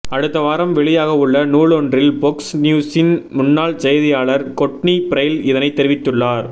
அடுத்த வாரம் வெளியாகவுள்ள நூலொன்றில் பொக்ஸ் நியுசின் முன்னாள் செய்தியாளர் கொட்னி பிரைல் இதனை தெரிவித்துள்ளார்